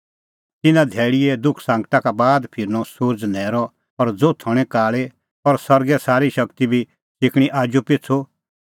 तिन्नां धैल़ीए दुखसांगटा का बाद फिरनअ सुरज़ न्हैरअ और ज़ोथ हणीं काल़ी और सरगा का अल़णैं तारै और सरगे सारी शगती बी सिकणीं आजूपिछ़ू